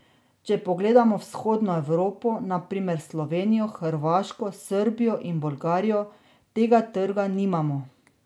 Če pogledamo vzhodno Evropo, na primer Slovenijo, Hrvaško, Srbijo in Bolgarijo, tega trga nimamo.